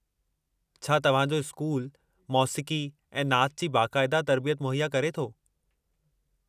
छा तव्हां जो स्कूलु मोसीक़ी ऐं नाचु जी बाक़ायदा तरबियत मुहैया करे थो?